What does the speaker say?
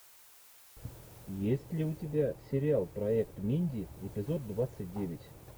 есть ли у тебя сериал проект минди эпизод двадцать девять